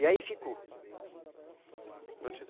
E aí ficou. Norbertino,